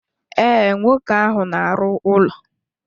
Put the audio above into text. Ee, nwoke ahụ na arụ ụlọ.